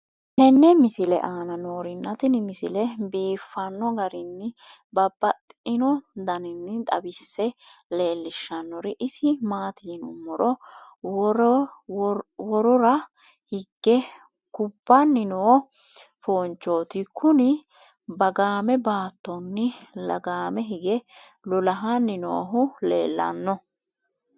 tenne misile aana noorina tini misile biiffanno garinni babaxxinno daniinni xawisse leelishanori isi maati yinummoro worora hige kubbanni noo foonichchotti Kuni . Bagaamme baattonni lagaame hige lolahanni noohu leellanno